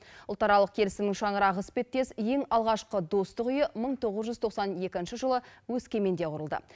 ұлтаралық келісімнің шаңырағы іспеттес ең алғашқы достық үйі мың тоғыз жүз тоқсан екінші жылы өскеменде құрылды